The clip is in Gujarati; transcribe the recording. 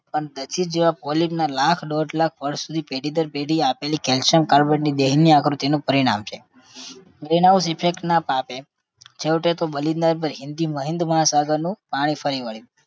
દસિક જેવા polyp ના લાખ દોઢ લાખ personally પેઢી દર પેઢી આપેલી calcium carbonate ની દેનની આકૃતિનું પરિણામ છે. green house effect ના પાપે છેવટે તો બલી ના જ બની એની હિન્દ મહાસાગરનું પાણી ફરી વળ્યું